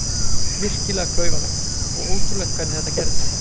Virkilega klaufalegt og ótrúlegt hvernig þetta gerðist.